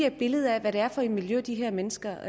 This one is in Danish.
et billede af hvad det er for et miljø de her mennesker